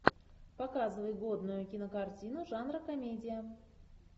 показывай годную кинокартину жанра комедия